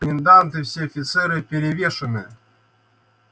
комендант и все офицеры перевешаны